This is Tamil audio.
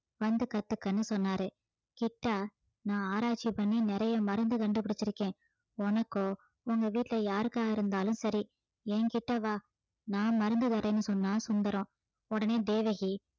வந்து கத்துக்கன்னு சொன்னாரு கிட்டா நான் ஆராய்ச்சி பண்ணி நிறைய மருந்து கண்டுபிடிச்சிருக்கேன் உனக்கோ உங்க வீட்டுல யாருக்கா இருந்தாலும் சரி என்கிட்ட வா நான் மருந்து தரேன்னு சொன்னான் சுந்தரம் உடனே தேவகி